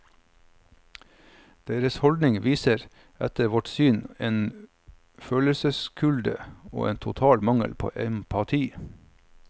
Deres holdning viser etter vårt syn en følelseskulde og en total mangel på empati.